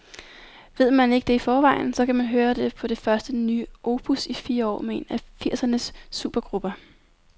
Ved man ikke det i forvejen, så kan man høre det på det første nye opus i fire år med en af firsernes supergrupper.